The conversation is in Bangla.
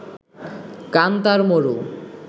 কান্তার মরু